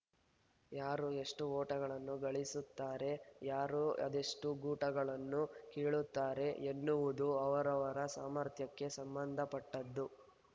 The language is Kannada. ಯಾರು ಎಷ್ಟುಓಟಗಳನ್ನು ಗಳಿಸುತ್ತಾರೆ ಯಾರು ಅದೆಷ್ಟುಗೂಟಗಳನ್ನು ಕೀಳುತ್ತಾರೆ ಎನ್ನುವುದು ಅವರವರ ಸಾಮರ್ಥ್ಯಕ್ಕೆ ಸಂಬಂಧಪಟ್ಟದ್ದು